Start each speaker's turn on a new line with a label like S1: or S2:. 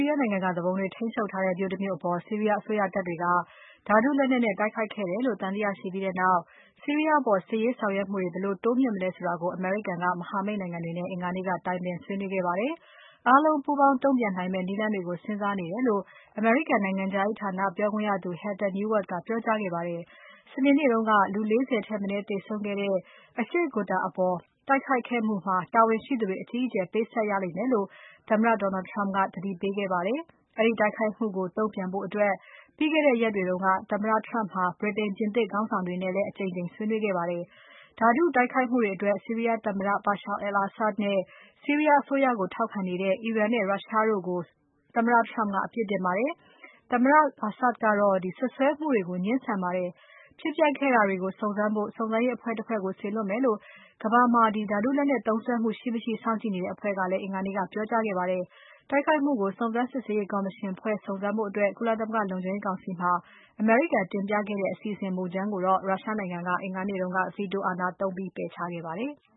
S1: ီးယားနိုင်ငံက သူပုန်တွေထိန်းချုပ်ထားတဲ့ မြို့တမြို့အပေါ် ဆီးရီးယားအစိုးရတပ်တွေက ဓါတုလက်နက်နဲ့ တိုက်ခိုက်ခဲ့တယ်လို့ သံသယရှိပြီးနောက် ဆီးရီးယားအပေါ် စစ်ရေးဆောင်ရွက်မှုတွေကို ဘယ်လို တိုးမြှင့်လုပ်မလဲဆိုတာကို အမေရိကန်က မဟာမိတ်နိုင်ငံတွေနဲ့ အင်္ဂါနေ့က တိုင်ပင်ဆွေးနွေးခဲ့ပါတယ်။ အားလုံးပူးပေါင်းတုံ့ပြန်နိုင်မယ့် နည်းလမ်းတွေကို စဉ်းစားနေတယ်လို့ အမေရိကန်နိုင်ငံခြားရေးဌာန ပြောခွင့်ရသူ Heather Nauert ကပြောကြားခဲ့ပါတယ်။ စနေနေ့တုန်းက လူ ၄၀ ထက်မနည်းသေဆုံးခဲ့တဲ့ အရှေ့ Ghouta အပေါ် တိုက်ခိုက်ခိုက်မှုအတွက် တာဝန်ရှိသူတွေ အကြီးအကျယ်ပေးဆပ်ရလိမ့်မယ်လို့ သမ္မတ Donald Trump က သတိပေးခဲ့ပါတယ်။ အဲဒီတိုက်ခိုက်မှုကို တုံ့ပြန်ဖို့အတွက် ပြီးခဲ့တဲ့ရက်တွေက သမ္မတ Turmp ဟာ ဗြိတိန်၊ ပြင်သစ်ခေါင်းဆောင်တွေနဲ့ အကြိမ်ကြိမ် ဆွေးနွေးခဲ့ပါတယ်။ ဓါတုတိုက်ခိုက်မှုတွေအတွက် ဆီးရီးယားသမ္မတ Bashar al-Assad နဲ့ ဆီးရီးယားအစိုးရကို ထောက်ခံနေတဲ့ အီရန်နဲ့ ရုရှားတို့ကို သမ္မတ Trump ကအပြစ်တင်ခဲ့ပါတယ်။ သမ္မတ Assad ကတော့ စွပ်စွဲမှုတွေကို ငြင်းဆန်ပါတယ်။ ဖြစ်ပျက်ခဲ့တာတွေကို စုံစမ်းဖို့ စုံစမ်းရေးအဖွဲ့တဖွဲ့ကို စေလွှတ်မယ်လို့ ကမ္ဘာမှာ ဓါတုလက်နက်သုံးစွဲမှု ရှိမရှိ စောင့်ကြည့်နေတဲ့ အဖွဲ့က အင်္ဂါနေ့က ပြောကြားခဲ့ပါတယ်။ တိုက်ခိုက်မှုကို စုံစမ်းစစ်ဆေးရေး ကော်မရှင်ဖွဲ့ဖို့ ကုလသမဂ္ဂလုံခြုံရေးကောင်စီမှာ အမေရိကန်တင်ပြခဲ့တဲ့ အစီအစဉ်မူကြမ်းကို ရုရှားနိုင်ငံက အင်္ဂါနေ့က Veto အာဏာသုံးပယ်ချခဲ့ပါတယ်။